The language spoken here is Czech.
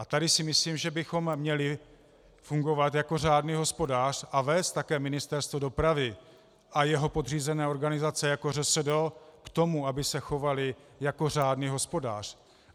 A tady si myslím, že bychom měli fungovat jako řádný hospodář a vést také Ministerstvo dopravy a jeho podřízené organizace jako ŘSD k tomu, aby se chovaly jako řádný hospodář.